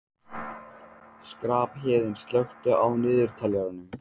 Skarphéðinn, slökktu á niðurteljaranum.